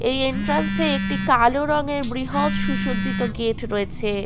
এই এন্ট্রান্স এ একটি কালো রঙের বৃহৎ সুসজ্জিত গেট রয়েছে।